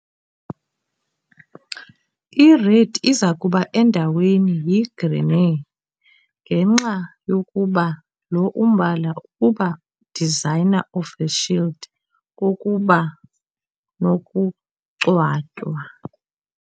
I-red izakuba endaweni yi - grená, ngenxa yokuba lo umbala ukuba designer of the shield kokuba nokungcwatywa.